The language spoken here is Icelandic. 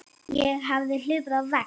Ég hafði hlaupið á vegg.